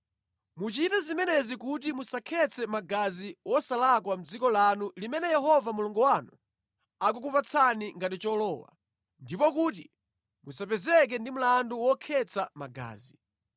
Muchite zimenezi kuti musakhetse magazi wosalakwa mʼdziko lanu limene Yehova Mulungu wanu akukupatsani ngati cholowa, ndipo kuti musapezeke ndi mlandu wokhetsa magazi.